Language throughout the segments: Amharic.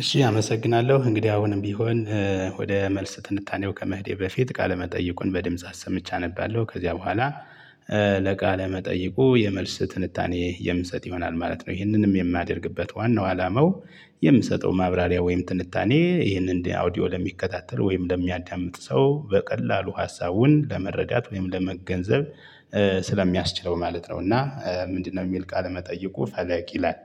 እሺ አመሰግናለሁ እንግዲህ አሁንም ቢሆን ወደ መልስ ትንታኔው ከመሄዴ በፊት ቃለ መጠይቁን በድምጽ አሰምቼ አነባለሁ ከዚያ በኋላ። ለቃለ መጠይቁ የመልስ ትንታኔ የምሰጥ ይሆናል ማለት ነው። ይህንንም የማደርግበት ዋናው አላማው የምሰጠው ማብራሪያ ወይም ትንታኔ ይህንን ኦዲዮ ለሚከታተል ወይም ለሚያዳምጥ ሰው በቀላሉ ሀሳቡን ለመረዳት ወይም ለመገንዘብ። ስለሚያስችለው ማለት ነው እና ምንድነው የሚል ቃል መጠየቁ ፈለቅ ይላል።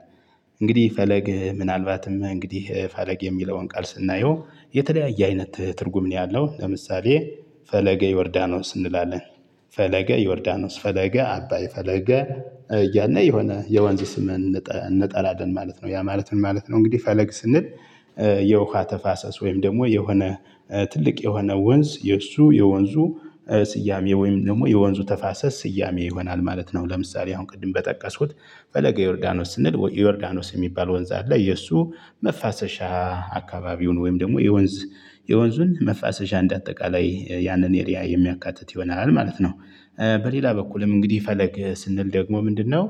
እንግዲህ ፈለግ ምናልባትም እንግዲህ ፈለግ የሚለውን ቃል ስናየው የተለያየ አይነት ትርጉም ነው። ያለው ለምሳሌ ፈለገ ዮርዳኖስ እንላለን። ፈለገ ዮርዳኖስ ፈለገ አባይ ፈለገ እያልን የሆነ የወንዝ ስምን እንጠራለን ማለት ነው። ያ ማለት ምን ማለት ነው እንግዲህ ፈለግ ስንል። የውሃ ተፋሰስ ወይም ደግሞ የሆነ ትልቅ የሆነ ወንዝ የእሱ የወንዙ ስያሜ ወይም ደግሞ የወንዙ ተፋሰስ ስያሜ ይሆናል ማለት ነው። ለምሳሌ አሁን ቅድም በጠቀስኩት ፈለገ ዮርዳኖስ ስንል ዮርዳኖስ የሚባል ወንዝ አለ። የእሱ መፋሰሻ አካባቢውን ወይም ደግሞ የወንዝ የወንዙን መፋሰሻ እንደ አጠቃላይ ያንን ኤሪያ የሚያካትት ይሆናል ማለት ነው። በሌላ በኩልም እንግዲህ ፈለግ ስንል ደግሞ ምንድነው?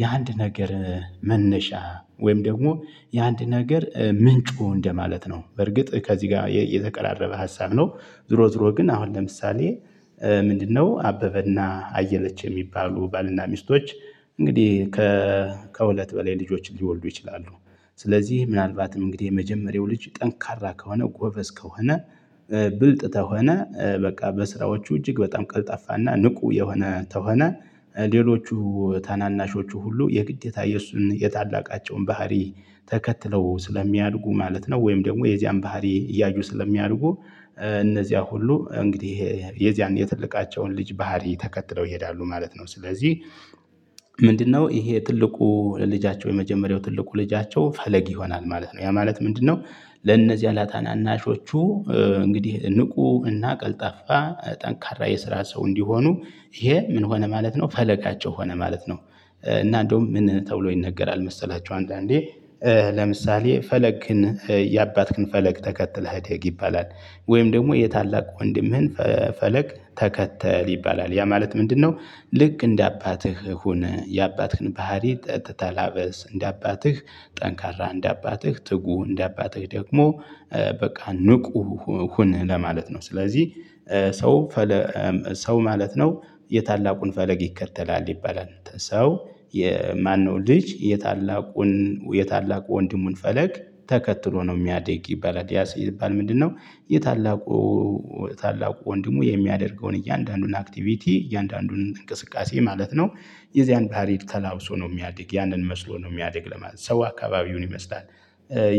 የአንድ ነገር መነሻ ወይም ደግሞ የአንድ ነገር ምንጩ እንደማለት ነው። በርግጥ ከዚህ ጋር የተቀራረበ ሀሳብ ነው። ዙሮ ዙሮ ግን አሁን ለምሳሌ ምንድነው? አበበና አየለች የሚባሉ ባልና ሚስቶች እንግዲህ ከሁለት በላይ ልጆችን ሊወልዱ ይችላሉ። ስለዚህ ምናልባትም እንግዲህ የመጀመሪያው ልጅ ጠንካራ ከሆነ ጎበዝ ከሆነ። ብልጥ ከሆነ በቃ በስራዎቹ እጅግ በጣም ቀልጣፈና ንቁ የሆነ ከሆነ ሌሎቹ ታናናሾቹ ሁሉ የግዴታ የእሱን የታላቃቸውን ባህሪ ተከትለው ስለሚያድጉ ማለት ነው። ወይም ደግሞ የዚያን ባህሪ እያዩ ስለሚያድጉ። እነዚያ ሁሉ እንግዲህ የዚያን የትልቃቸውን ልጅ ባህሪ ተከትለው ይሄዳሉ ማለት ነው። ስለዚህ ምንድነው? ይሄ ትልቁ ልጃቸው የመጀመሪያው ትልቁ ልጃቸው ፈለግ ይሆናል ማለት ነው። ያ ማለት ምንድነው? ለነዚህ ለታናናሾቹ እንግዲህ ንቁ እና ቀልጣፋ ጠንካራ የስራ ሰው እንዲሆኑ። ይሄ ምን ሆነ ማለት ነው ፈለጋቸው ሆነ ማለት ነው። እና እንደውም ምን ተብሎ ይነገራል መሰላችሁ አንዳንዴ ለምሳሌ ፈለግህን የአባትክን ፈለግ ተከትለህ እደግ ይባላል። ወይም ደግሞ የታላቅ ወንድምህን ፈለግ ተከተል ይባላል ያ ማለት ምንድነው? ልክ እንደ አባትህ ሁን የአባትህን ባህሪ ተላበሰ እንደ አባትህ ጠንካራ እንደ አባትህ ትጉህ እንደ አባትህ ደግሞ በቃ ንቁ ሁን ለማለት ነው። ስለዚህ ሰው ሰው ማለት ነው። የታላቁን ፈለግ ይከተላል ይባላል ሰው የማነው ልጅ የታላቁን የታላቁ ወንድሙን ፈለግ ተከትሎ ነው የሚያድግ ይባላል። ያ ሲባል ምንድነው? የታላቁ ታላቁ ወንድሙ የሚያደርገውን እያንዳንዱን አክቲቪቲ እያንዳንዱን እንቅስቃሴ ማለት ነው። የዚያን ባህሪ ተላብሶ ነው የሚያድግ ያንን መስሎ ነው የሚያድግ ለማለት ነው ሰው አካባቢውን ይመስላል።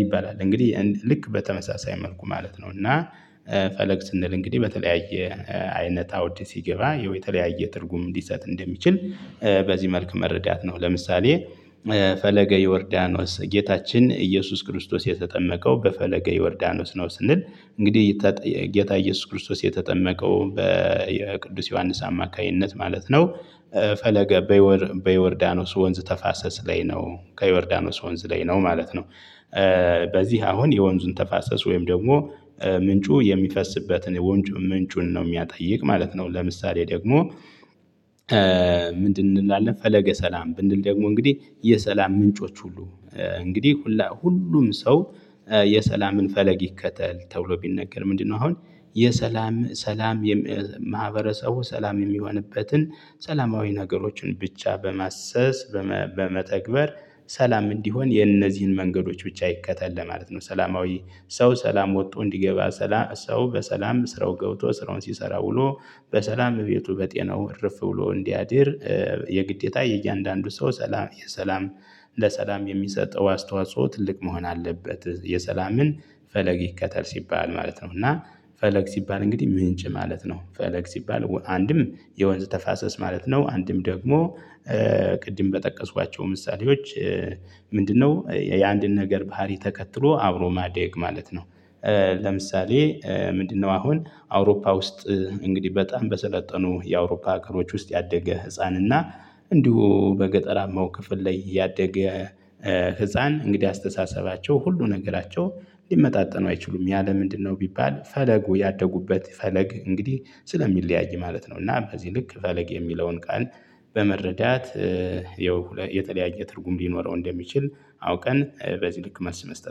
ይባላል እንግዲህ ልክ በተመሳሳይ መልኩ ማለት ነው። እና ፈለግ ስንል እንግዲህ በተለያየ አይነት አውድ ሲገባ የተለያየ ትርጉም ሊሰጥ እንደሚችል። በዚህ መልክ መረዳት ነው። ለምሳሌ ፈለገ ይወርዳኖስ ጌታችን ኢየሱስ ክርስቶስ የተጠመቀው በፈለገ ይወርዳኖስ ነው ስንል እንግዲህ ጌታ ኢየሱስ ክርስቶስ የተጠመቀው በቅዱስ ዮሐንስ አማካኝነት ማለት ነው። ፈለገ በዮርዳኖስ ወንዝ ተፋሰስ ላይ ነው ከዮርዳኖስ ወንዝ ላይ ነው ማለት ነው። በዚህ አሁን የወንዙን ተፋሰስ ወይም ደግሞ ምንጩ የሚፈስበትን ወንጭ ምንጩን ነው የሚጠይቅ ማለት ነው። ለምሳሌ ደግሞ? ምንድን እንላለን ፈለገ ሰላም ብንል ደግሞ እንግዲህ የሰላም ምንጮች ሁሉ እንግዲህ ሁሉ ሁሉም ሰው። የሰላምን ፈለግ ይከተል ተብሎ ቢነገር ምንድነው አሁን? የሰላም ሰላም የማህበረሰቡ ሰላም የሚሆንበትን ሰላማዊ ነገሮችን ብቻ በማሰስ በመተግበር ሰላም እንዲሆን የነዚህን መንገዶች ብቻ ይከተል ለማለት ነው። ሰላማዊ ሰው ሰላም ወጥቶ እንዲገባ ሰላ ሰው በሰላም ስራው ገብቶ ስራውን ሲሰራ ውሎ በሰላም ቤቱ በጤናው እርፍ ብሎ እንዲያድር። የግዴታ የእያንዳንዱ ሰው ሰላም የሰላም ለሰላም የሚሰጠው አስተዋፅዖ ትልቅ መሆን አለበት። የሰላምን ፈለግ ይከተል ሲባል ማለት ነው። እና ፈለግ ሲባል እንግዲህ ምንጭ ማለት ነው ፈለግ ሲባል አንድም የወንዝ ተፋሰስ ማለት ነው። አንድም ደግሞ ቅድም በጠቀስኳቸው ምሳሌዎች። ምንድነው? የአንድን ነገር ባህሪ ተከትሎ አብሮ ማደግ ማለት ነው። ለምሳሌ ምንድነው? አሁን አውሮፓ ውስጥ እንግዲህ በጣም በሰለጠኑ የአውሮፓ ሀገሮች ውስጥ ያደገ ህፃን እና እንዲሁ በገጠራማው ክፍል ላይ ያደገ ህፃን እንግዲህ አስተሳሰባቸው ሁሉ ነገራቸው ሊመጣጠኑ አይችሉም ያ ለምንድነው ቢባል ፈለጉ ያደጉበት ፈለግ እንግዲህ ስለሚለያይ ማለት ነው። እና በዚህ ልክ ፈለግ የሚለውን ቃል በመረዳት። የተለያየ ትርጉም ሊኖረው እንደሚችል አውቀን በዚህ ልክ መልስ መስጠት